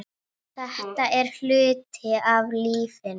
Þetta er hluti af lífinu.